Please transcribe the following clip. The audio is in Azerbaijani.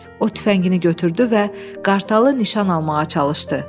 O tüfəngini götürdü və qartalı nişan almağa çalışdı.